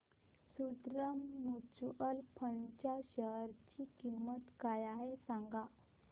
Sundaram mutual fund च्या share ची किंमत काय आहे सांगा